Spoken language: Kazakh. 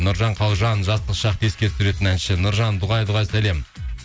нұржан қалжан жастық шақты еске түсіретін әнші нұржан дұғай дұғай сәлем